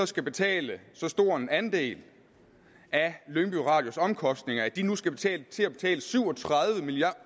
skal betale så stor en andel af lyngby radios omkostninger at de nu skal til til at betale syv og tredive million